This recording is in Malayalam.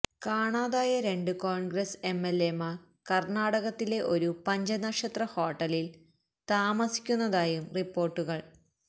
കാണാതായ രണ്ട് കോണ്ഗ്രസ് എംഎല്എമാര് കര്ണാടകത്തിലെ ഒരു പഞ്ചനക്ഷത്ര ഹോട്ടലില് താമസിക്കുന്നതായും റിപ്പോര്ട്ടുകള്